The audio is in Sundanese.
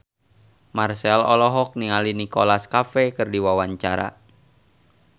Marchell olohok ningali Nicholas Cafe keur diwawancara